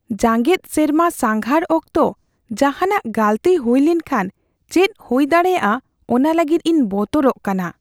ᱡᱟᱜᱮᱫ ᱥᱮᱨᱢᱟ ᱥᱟᱸᱜᱷᱟᱨ ᱚᱠᱛᱚ ᱡᱟᱦᱟᱱᱟᱜ ᱜᱟᱹᱞᱛᱤ ᱦᱩᱭ ᱞᱮᱱᱠᱷᱟᱱ ᱪᱮᱫ ᱦᱩᱭ ᱫᱟᱲᱮᱭᱟᱜᱼᱟ ᱚᱱᱟ ᱞᱟᱹᱜᱤᱫ ᱤᱧ ᱵᱚᱛᱚᱨᱚᱜ ᱠᱟᱱᱟ ᱾